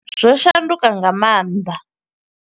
Zwo shanduka nga maanḓa.